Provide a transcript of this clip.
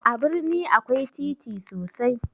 A birni akwai titi sosai